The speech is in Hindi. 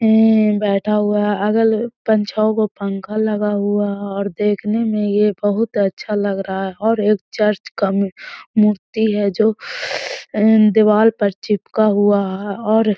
ये बैठा हुआ है पंखा लगा हुवा है और देखने में ये बहोत अच्छा लग रहा है और एक चर्च का मूर्ति है जो दीवाल पे चिपका हुवा है और --